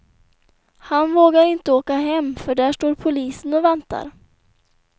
Han vågar inte åka hem, för där står polisen och väntar.